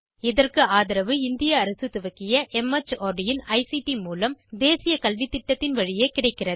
இதற்கு ஆதரவு இந்திய அரசு துவக்கிய மார்ட் இன் ஐசிடி மூலம் தேசிய கல்வித்திட்டத்தின் வழியே கிடைக்கிறது